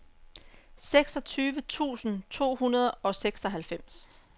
seksogtyve tusind to hundrede og seksoghalvfems